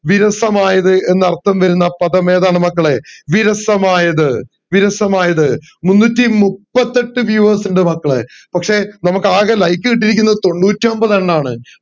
വിരസമായത് എന്ന് അർത്ഥം വരുന്ന പദം ഏതാണ് മക്കളെ വിരസമായത് വിരസമായത് മുന്നൂറ്റി മുപ്പത്തിയെട്ട് viewers ഇണ്ട് മക്കളെ പക്ഷെ നമക് ആകെ like കിട്ടിയിരിക്കുന്നത് തൊണ്ണൂറ്റി ഒമ്പതെണ്ണമാണ്